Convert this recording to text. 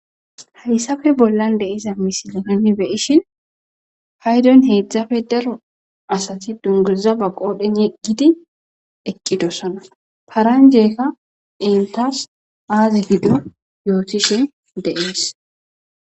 Hayssafe bollan deiza misilononi beyishin haydon heedzdzafe daro asati dunguza ba qoodhen yegidi eqqidossana paranjeeka intas aazi gido yootishin deees.